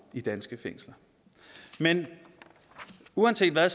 i danske fængsler men uanset hvad